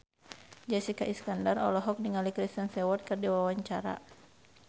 Jessica Iskandar olohok ningali Kristen Stewart keur diwawancara